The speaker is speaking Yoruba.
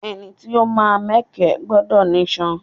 Ẹni tí ó máa mẹkẹ gbọdọ̀ nísàn